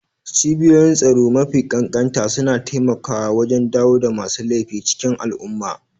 Cibiyoyin tsaro mafi ƙanƙanta suna taimakawa wajen dawo da masu laifi cikin al'umma.